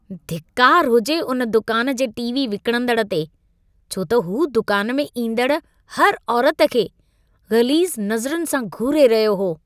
धिक्कार हुजे हुन दुकान जे टीवी विकणंदड़ु ते, छो त हू दुकान में ईंदड़ हर औरति खे ग़लीज़ नज़रनि सां घूरे रहियो हो।